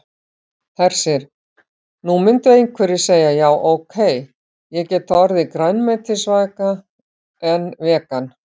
Hersir: Nú myndu einhverjir segja já ok, ég get orðið grænmetisæta en vegan?